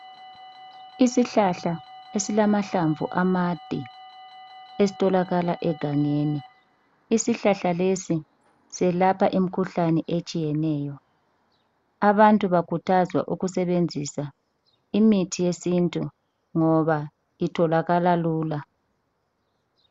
Isihlahla esilamahlamvu amade esitholakala egangeni. Isihlahla lesi selapha imikhuhlane etshiyeneyo. Abantu bakhuthazwa ukusebenzisa imithi yesintu ngoba itholakala lula.